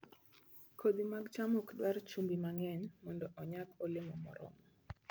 Kodhi mar cham ok dwar chumbi mang'eny mondo onyag olemo moromo